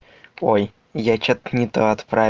ой я что-то не то отправил